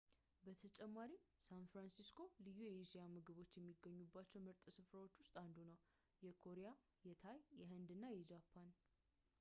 በተጨማሪም ሳን ፍራንሲስኮ ልዩ የእስያ ምግቦች ከሚገኙባቸ ምርጥ ስፍራዎች ውስጥ አንዱ ነው የኮሪያ የታይ የህንድ እና የጃፓን